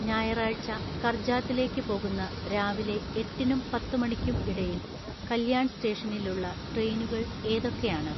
ഞായറാഴ്ച കർജാത്തിലേക്ക് പോകുന്ന രാവിലെ എട്ടിനും പത്തുമണിക്കും ഇടയിൽ കല്യാൺ സ്റ്റേഷനിലുള്ള ട്രെയിനുകൾ ഏതൊക്കെയാണ്